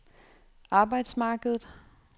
arbejdsmarkedet